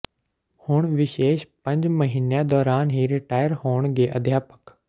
ਹੁਣ ਵਿਸ਼ੇਸ਼ ਪੰਜ ਮਹੀਨਿਆਂ ਦੌਰਾਨ ਹੀ ਰਿਟਾਇਰ ਹੋਣਗੇ ਅਧਿਆਪਕ